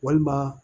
Walima